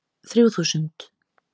Þrjú þúsund